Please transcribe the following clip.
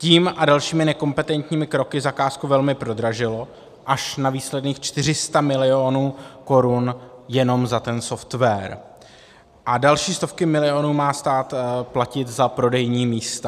Tím a dalšími nekompetentními kroky zakázku velmi prodražilo až na výsledných 400 milionů korun jenom za ten software a další stovky milionů má stát platit za prodejní místa.